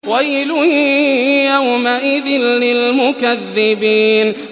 وَيْلٌ يَوْمَئِذٍ لِّلْمُكَذِّبِينَ